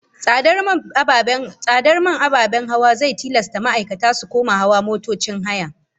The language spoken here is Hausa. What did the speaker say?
Tsadar man ababen hawa zai tilasta ma'aikata su koma hawan motocin haya